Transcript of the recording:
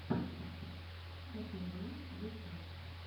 ктв ютюб